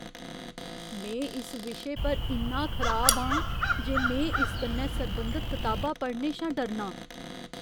में इस विशे पर इन्ना खराब आं जे में इस कन्नै सरबंधत कताबा पढ़ने शा डरनां।